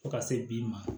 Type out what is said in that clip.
Fo ka se bi ma